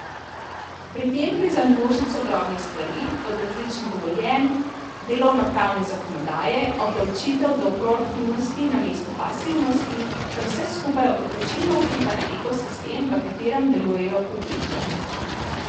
Pri tem gre za množico drobnih stvari, od različnih dovoljenj, delovnopravne zakonodaje, obdavčitev do proaktivnosti namesto pasivnosti, kar vse skupaj odločilno vpliva na ekosistem, v katerem delujejo podjetja.